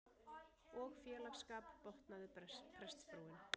Og félagsskap, botnaði prestsfrúin.